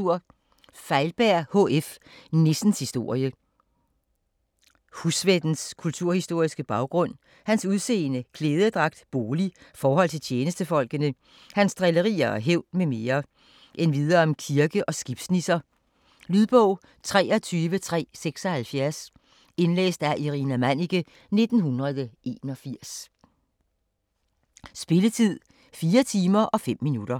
Feilberg, H. F.: Nissens historie Husvættens kulturhistoriske baggrund, hans udseende, klædedragt, bolig, forhold til tjenestefolkene, hans drillerier og hævn m. m. Endvidere om kirke- og skibsnisser. Lydbog 23376 Indlæst af Irina Manniche, 1981. Spilletid: 4 timer, 5 minutter.